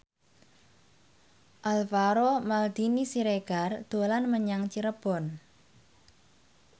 Alvaro Maldini Siregar dolan menyang Cirebon